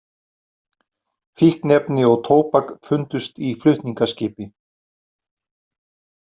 Fíkniefni og tóbak fundust í flutningaskipi